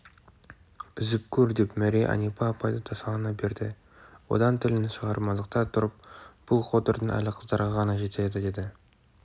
үзіп көр деп мәри әнипа апайды тасалана берді одан тілін шығарып мазақтай тұрыпбұл қотырдың әлі қыздарға ғана жетеді деді